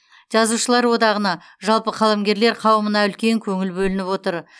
жазушылар одағына жалпы қаламгерлер қауымына үлкен көңіл бөлініп отыр